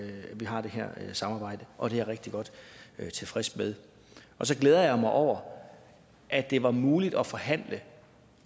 vi har det her samarbejde og det er jeg rigtig godt tilfreds med og så glæder jeg mig over at det var muligt at forhandle